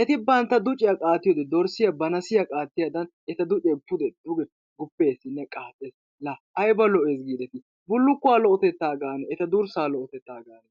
Eti bantta ducciyaa qaatiyoode dorssiya ba nassiyaa qaattiyaadan eta ducce pude duge gupeessinne qaaxxees. la aybba lo"ees giideti bullukuwaa lo"otetta gaane eta durssa lo"otetta gaane!